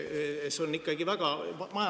Majandamiskulud ühe reana …